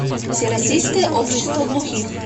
всероссийское общество глухих